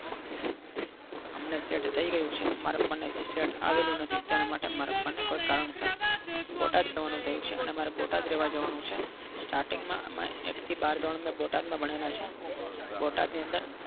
અમને set થઈ ગયું છે મારા પપ્પાને હજી set આવેલું નથી તેના માટે મારા પપ્પાને કોઈ કારણસર બોટાદ જવાનું થયું છે અને બોટાદ રહેવા જવાનું છે starting માં અમે એક થી બાર બોટાદમાં ભણેલા છીએ બોટાદ ની અંદર